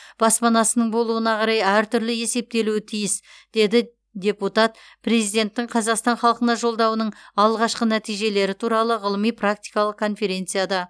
баспанасының болуына қарай әртүрлі есептелуі тиіс деді депутат президенттің қазақстан халқына жолдауының алғашқы нәтижелері туралы ғылыми практикалық конференцияда